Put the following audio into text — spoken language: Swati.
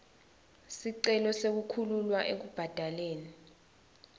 sicelo sekukhululwa ekubhadaleni